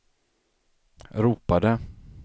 ropade